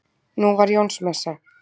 Nú var Jónsmessa.